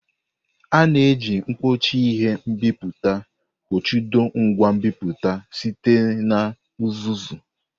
A na-eji mkpuchi ihe nbipute kpuchido ngwa nbipute site na uzuzu.